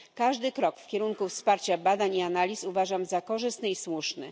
Każdy krok w kierunku wsparcia badań i analiz uważam za korzystny i słuszny.